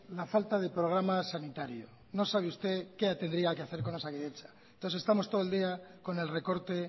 la falta de programa sanitario no sabe usted qué tendría que hacer con osakidetza entonces estamos todo el día con el recorte